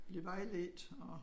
Blive vejledt og